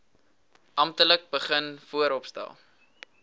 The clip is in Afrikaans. amptelik begin vooropstel